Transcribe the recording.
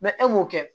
e m'o kɛ